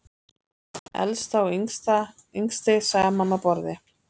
Elsta og yngsti saman á borði